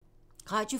Radio 4